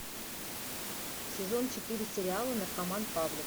сезон четыре сериала наркоман павлик